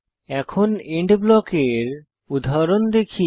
এখন এন্ড ব্লকের উদাহরণ দেখি